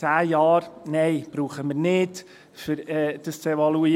Zehn Jahre: Nein, das brauchen wir nicht, um das zu evaluieren.